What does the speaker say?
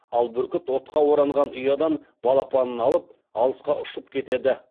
ал бүркіт отқа оранған ұядан балапанын алып алысқа ұшып кетеді